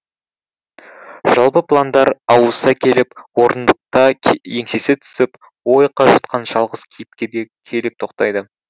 жалпы пландар ауыса келіп орындықта еңсесі түсіп ой қажытқан жалғыз кейіпкерге келіп тоқтайды